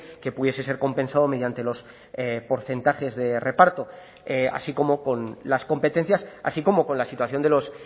que pudiese ser compensado mediante los porcentajes de reparto así como con las competencias así como con la situación de los